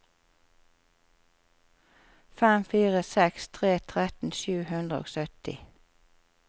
fem fire seks tre tretten sju hundre og sytti